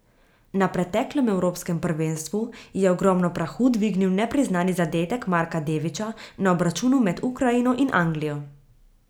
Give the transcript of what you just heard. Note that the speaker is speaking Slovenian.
Na preteklem evropskem prvenstvu je ogromno prahu dvignil nepriznani zadetek Marka Deviča na obračunu med Ukrajino in Anglijo.